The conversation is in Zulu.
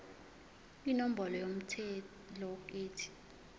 inombolo yomthelo ethi